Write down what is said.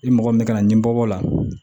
I mɔgɔ min kana ni bɔ bɔ o la